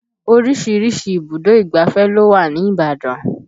Oríṣiríṣi ibùdó ìgbáfẹ́ ló wà ní Ibadan